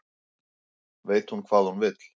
Veit hvað hún vill